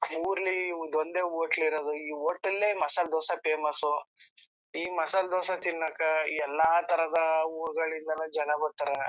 ಊರ್ಲಿ ಇದ್ ಒಂದೇ ಹೋಟೆಲ್ ಇರೋದು ಈ ಹೋಟೆಲ್ ಮಸಾಲಾ ದೋಸಾ ಫೇಮಸ್ ಈ ಮಸಾಲಾ ದೋಸಾ ತಿನ್ನೋಕಾ ಎಲ್ಲ ತರದ ಊರ್ಗಳಿಂದ ಜನ ಬರ್ತಾರಾ.